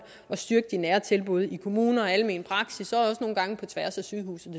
og styrke de nære tilbud i kommuner og almen praksis og også nogle gange på tværs af sygehuse